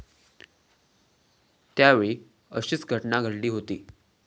त्यावेळी अशीच घटना घडली होती.